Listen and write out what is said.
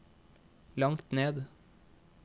langt ned